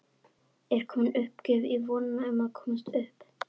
Er komin uppgjöf í vonina um að komast upp?